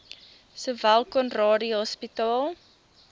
sowel conradie hospitaal